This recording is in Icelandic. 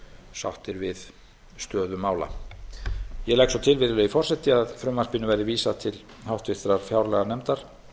sáttir við stöðu mála ég legg svo til virðulegi forseti að frumvarpinu verði vísað til háttvirtrar fjárlaganefndar